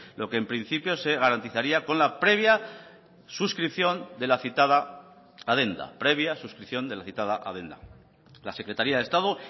lo que en principio se garantizaría con la previa suscripción de la citada adenda la secretaría de estado